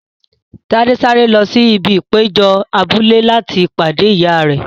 Tade sáré lọ sí ibi ìpéjọ abúlé láti pàdé ìyá rẹ.